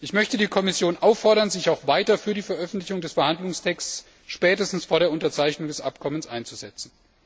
Ich möchte die Kommission auffordern, sich auch weiter für die Veröffentlichung des Verhandlungstexts, spätestens vor der Unterzeichnung des Abkommens, einzusetzen.